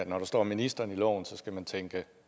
når der står ministeren i loven skal man tænke